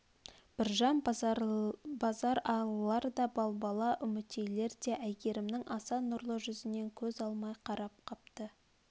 біржан базаралылар да балбала үмітейлер де әйгерімнің аса нұрлы жүзінен көз алмай қарап қапты